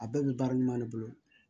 A bɛɛ bɛ baara ɲuman de bolo